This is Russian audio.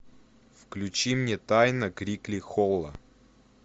включи мне тайна крикли холла